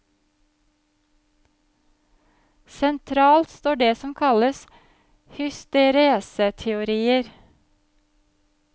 Sentralt står det som kalles hystereseteorier.